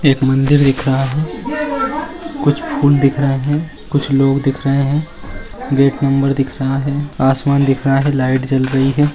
एक मंदिर दिख रहा है कुछ फूल दिख रहे हैं कुछ लोग दिख रहे हैं गेट नंबर दिख रहा है आसमान दिख रहा है लाइट जल रही है।